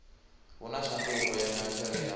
hu na tshanduko ya matheriala